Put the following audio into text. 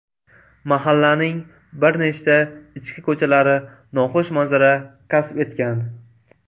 Mahallaning bir nechta ichki ko‘chalari noxush manzara kasb etgan.